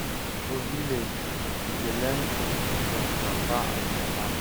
For village, we dey learn custom from papa and mama.